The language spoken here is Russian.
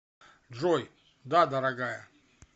джой да дорогая